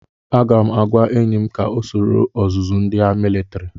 Aga m agwa enyi m ka ọ soro ọzụzụ ndi militiri.